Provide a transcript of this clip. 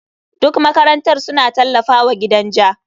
Duk makarantar suna tallafawa gidan ja.